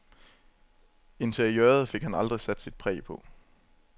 Interiøret fik han aldrig sat sit præg på.